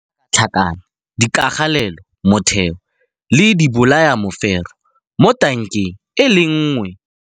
Se tlhakatlhakane dikagelelomotheo le dibolayamefero mo tankeng e le nngwe.